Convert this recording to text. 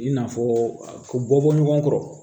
I n'a fɔ bɔ bɔ ɲɔgɔn kɔrɔ